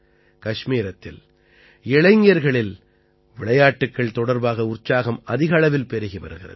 கஷ்மீரத்தில் இளைஞர்களில் விளையாட்டுக்கள் தொடர்பாக உற்சாகம் அதிக அளவில் பெருகி வருகிறது